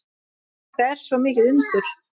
Þetta er svo mikið undur.